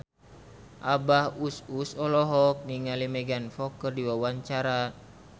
Abah Us Us olohok ningali Megan Fox keur diwawancara